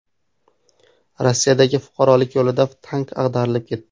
Rossiyadagi fuqarolik yo‘lida tank ag‘darilib ketdi.